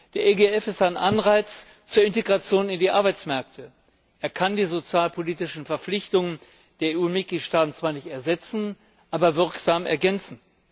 Der EGF ist ein Anreiz zur Integration in die Arbeitsmärkte. Er kann die sozialpolitischen Verpflichtungen der EU Mitgliedstaaten zwar nicht ersetzen, aber wirksam ergänzen.